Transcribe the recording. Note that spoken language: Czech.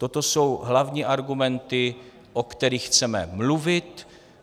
Toto jsou hlavní argumenty, o kterých chceme mluvit.